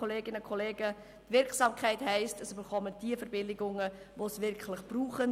Wirksamkeit heisst, dass diejenigen Verbilligungen erhalten, die sie wirklich brauchen.